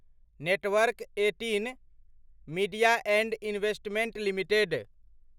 network eighteen media and investments limited